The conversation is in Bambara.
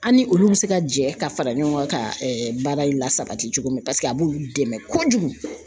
An ni olu bɛ se ka jɛ ka fara ɲɔgɔn ka baara la sabati cogo min, paseke a b'olu dɛmɛ kojugu.